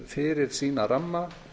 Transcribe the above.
fyrir sína ramma